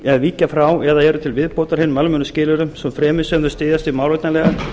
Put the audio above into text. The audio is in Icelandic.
er víkja frá eða eru til viðbótar hinum almennu skilyrðum svo fremi sem þau styðjast við málefnalegar